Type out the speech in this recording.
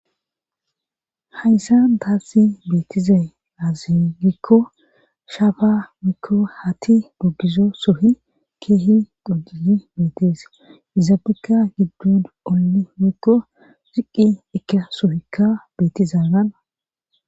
hayssa tassi beettizay aazi gikko shafa mikko hati mogizo suhi keehi dujiyi beetees izaabekka giddun olli mikko ziqqi eka suhikka beetizaanana